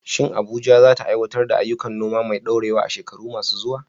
Shin Abuja za ta aiwatar da ayyukan noma mai ɗorewa a shekaru masu zuwa?